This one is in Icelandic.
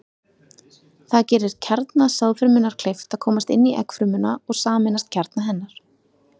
Það gerir kjarna sáðfrumunnar kleift að komast inn í eggfrumuna og sameinast kjarna hennar.